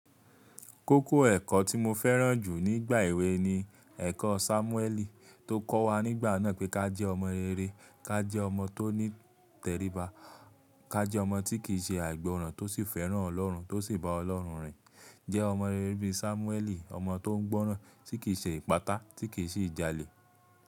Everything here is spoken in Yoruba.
Kókó ẹ̀kọ́ tí mo fẹ́ràn jù nígbà èwe ni ẹ̀kọ́ Sámúẹ́lì tó kọ́ wa nígbà náà pé ká jẹ́ ọmọ rere, ká jẹ́ ọmọ tó ní tẹríba, ká jẹ́ ọmọ tí kìí ṣe àìgbọràn tó sì fẹ́ràn Ọlọ́run tó sì bá Ọlọ́run rìn. Jẹ́ ọmọ rere bí i Sámúẹ́lì, ọmọ tó ń gbọ́rán, tí kì í ṣe ìpátá, tí kì í sì ìjalè.